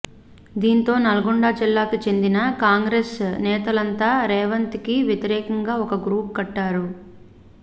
దీంతో నల్గొండ జిల్లాకి చెందిన కాంగ్రెస్ నేతలంతా రేవంత్ కి వ్యతిరేకంగా ఒక గ్రూప్ కట్టారు